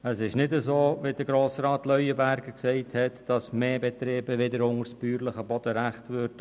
Es ist nicht so, wie Grossrat Leuenberger gesagt hat, dass mehr Betriebe danach wieder unter das bäuerliche Bodenrecht fallen würden.